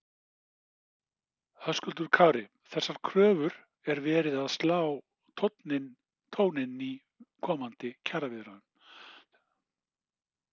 Höskuldur Kári: Þessar kröfur er verið að slá tóninn í komandi kjaraviðræðum?